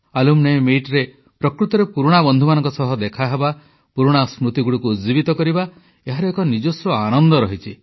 alumni ମିଟରେ ପ୍ରକୃତରେ ପୁରୁଣା ବନ୍ଧୁମାନଙ୍କ ସହ ଦେଖାହେବା ପୁରୁଣା ସ୍ମୃତିଗୁଡ଼ିକୁ ଉଜ୍ଜିବିତ କରିବା ଏହାର ଏକ ନିଜସ୍ୱ ଆନନ୍ଦ ରହିଛି